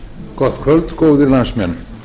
gott kvöld góðir landsmenn